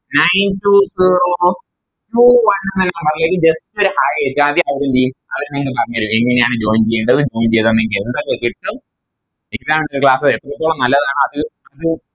Nine two zero two one എന്ന number ലേക്ക് Just ഒരു Hai അയച്ചാമതി അവരെന്തേയും അവര് നിങ്ങൾക്ക് പറഞ്ഞേരും എങ്ങനെയാണ് Join ചെയ്യേണ്ടത് Join ചെയ്താൽ നിങ്ങൾക്കെന്തൊക്കെ കിട്ടു exam ന്റെ class കൾ എത്രത്തോളം നല്ലതാണ് അത് അത് നി